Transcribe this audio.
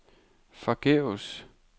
forgæves